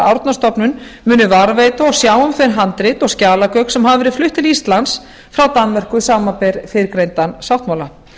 árnastofnun muni varðveita og sjá um þau handrit og skjalagögn sem hafa verið flutt til íslands frá danmörku samanber fyrrgreindan sáttmála